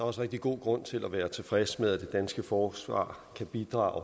også rigtig god grund til at være tilfreds med at det danske forsvar kan bidrage